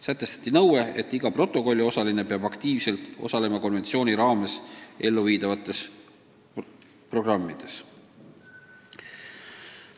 Sätestati nõue, et iga protokolliosaline peab aktiivselt osalema konventsiooni kohaselt elluviidavates programmides.